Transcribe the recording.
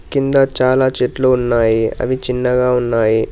కింద చాలా చెట్లు ఉన్నాయి అవి చిన్నగా ఉన్నాయి.